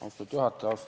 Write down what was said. Austatud juhataja!